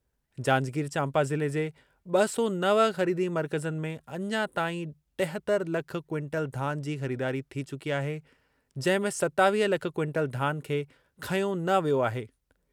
जांजगीर-चांपा ज़िले जे ब॒ सौ नव ख़रीदी मर्कज़नि में अञां ताईं टेहतर लख क्विंटल धान जी ख़रीदारी थी चुकी आहे, जंहिं में सतावीह लख क्विंटल धान खे खंयो न वियो आहे।